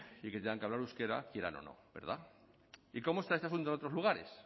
y que tengan que hablar euskera quieran o no verdad y cómo está este asunto en otros lugares